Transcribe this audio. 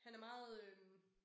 Han er meget øh